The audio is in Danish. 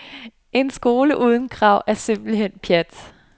En skole uden krav er simpelthen pjat.